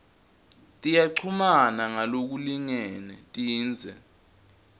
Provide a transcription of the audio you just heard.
tiyachumana ngalokulingene tindze